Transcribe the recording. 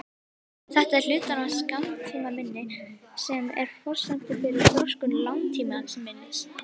Þetta er hluti af skammtímaminni sem er forsenda fyrir þroskun langtímaminnis.